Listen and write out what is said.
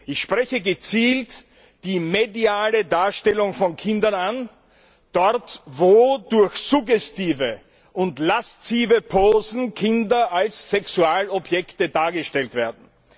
Ich spreche gezielt die mediale Darstellung von Kindern an Dort, wo durch suggestive und laszive Posen Kinder als Sexualobjekte dargestellt werden.